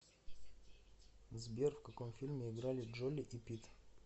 сбер в каком фильме играли джоли и питт